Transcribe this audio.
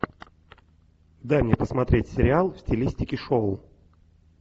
дай мне посмотреть сериал в стилистике шоу